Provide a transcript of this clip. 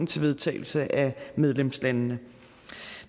til vedtagelse af medlemslandene